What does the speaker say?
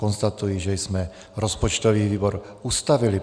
Konstatuji, že jsme rozpočtový výbor ustavili.